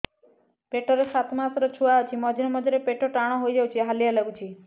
ପେଟ ରେ ସାତମାସର ଛୁଆ ଅଛି ମଝିରେ ମଝିରେ ପେଟ ଟାଣ ହେଇଯାଉଚି ହାଲିଆ ଲାଗୁଚି